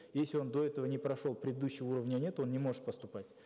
если он до этого не прошел предыдущего уровня нет он не может поступать